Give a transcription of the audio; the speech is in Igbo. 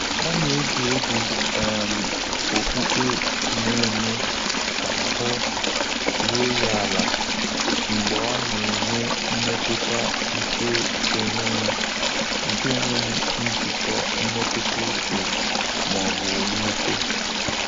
Ọ́ nà-égé égwú um ókpùkpé nà-émé kà áhụ́ rúó yá álá mgbè ọ́ nà-ènwé mmétụ́tà nké énwéghị́ nké énwéghị́ njìkọ́ mmétụ́tà úchè mà ọ́ bụ̀ mwúté.